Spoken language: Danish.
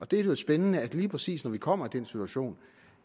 det lyder spændende at lige præcis når vi kommer i den situation